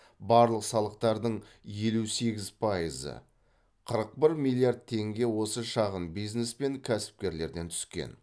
барлық салықтардың елу сегіз пайызы қырық бір миллиард теңге осы шағын бизнеспен кәсіпкерлерден түскен